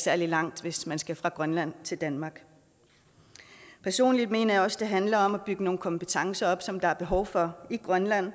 særlig langt hvis man skal fra grønland til danmark personligt mener jeg også det handler om at bygge nogle kompetencer op som der er behov for i grønland